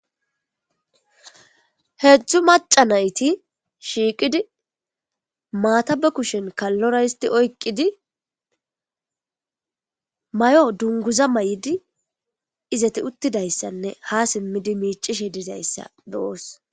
heedzdzu maca nayti shiiqidi maata ba kushen kallora histi oykqidi may7o dunguza may7di izati uttidayssanne ha simmidi miicishe dizayssa bewoos